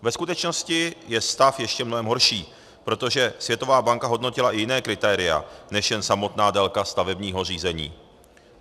Ve skutečnosti je stav ještě mnohem horší, protože Světová banka hodnotila i jiná kritéria než jen samotnou délku stavebního řízení.